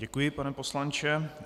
Děkuji, pane poslanče.